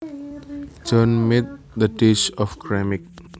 Joan made the dish of ceramic